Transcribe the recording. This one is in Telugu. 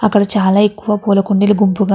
అక్కడ చాలా ఎక్కువ పూల కుండీలు గుంపుగా --